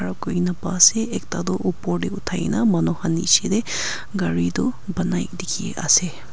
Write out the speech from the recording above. Aro koikena pa ase ekta toh upor tey uthai na manu khan neshe tey gari toh banai dekhi ase.